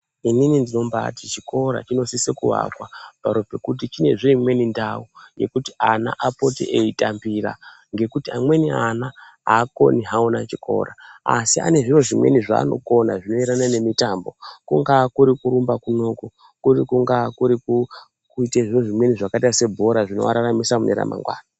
Inini ndinombaati chikora chinosisa kuakwa paro pekuti chinezve imweni ndau yekuti ana apote eitambira, ngekuti amweni ana haakoni hawo chikora, asi ane zviro zvimweni zvavanokona, zvinoenderana nemitambo. Kungaa kurumba kunoku, kuri kungaa kurikuite zviro zvimweni zvakaite sebhora zvinoararamisa mune ramangwana.